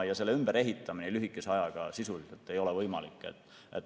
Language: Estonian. Selle ümberehitamine lühikese ajaga sisuliselt ei ole võimalik.